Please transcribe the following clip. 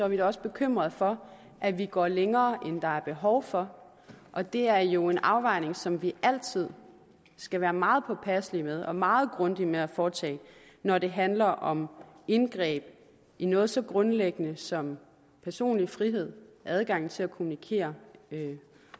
vi også bekymret for at vi går længere end der er behov for og det er jo en afvejning som vi altid skal være meget påpasselige med og meget grundige med at foretage når det handler om indgreb i noget så grundlæggende som personlig frihed adgang til at kommunikere